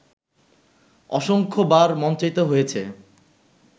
অসংখ্যবার মঞ্চায়িত হয়েছে